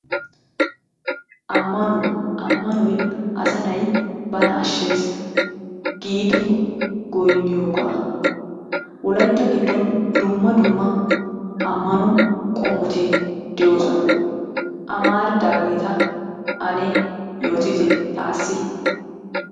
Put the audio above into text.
Ammanuwa; ammanoy asaa na'i bana ashees giidi goynniyoogaa. Wolaytta giddon dumma dumma amano qommoti de'oososna. Amaridaageeta ane yootitte taassi